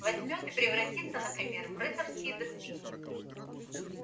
возьмёт и превратится например в рыцарские доспехи